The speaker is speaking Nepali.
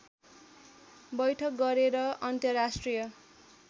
बैठक गरेर अन्तर्राष्ट्रिय